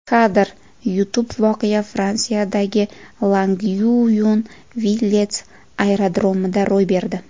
Kadr: YouTube Voqea Fransiyadagi Longyuyon-Villet aerodromida ro‘y berdi.